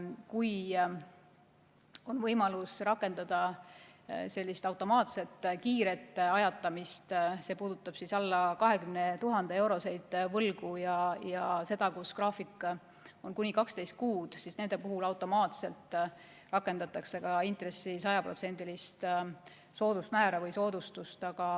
Kui on võimalus rakendada sellist kiiret automaatset ajatamist – see puudutab alla 20 000 euroseid võlgu, mille graafik on kuni 12 kuud –, siis automaatselt rakendatakse ka intressi sajaprotsendilist soodusmäära või soodustust.